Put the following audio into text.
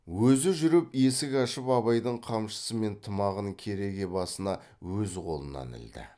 өзі жүріп есік ашып абайдың қамшысы мен тымағын кереге басына өз қолынан ілді